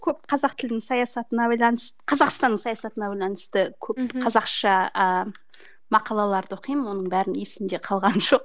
көп қазақ тілдің саясатына байланысты қазақстанның саясатына байланысты көп қазақша ыыы мақалаларды оқимын оның бәрін есімде қалғаны жоқ